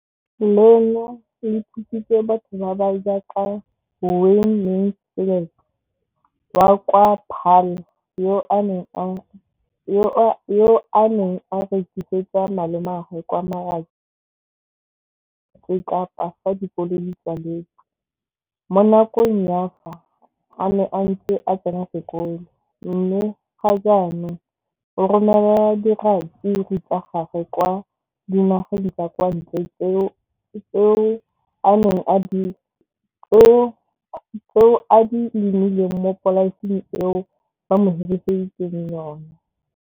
Leno le thusitse batho ba ba jaaka Wayne Mansfield, 33, wa kwa Paarl, yo a neng a rekisetsa malomagwe kwa Marakeng wa Motsekapa fa dikolo di tswaletse, mo nakong ya fa a ne a santse a tsena sekolo, mme ga jaanong o romela diratsuru tsa gagwe kwa dinageng tsa kwa ntle tseo a di lemileng mo polaseng eo ba mo hiriseditseng yona.